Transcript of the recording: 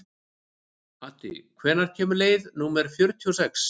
Addi, hvenær kemur leið númer fjörutíu og sex?